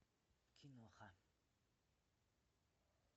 киноха